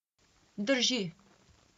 Drži.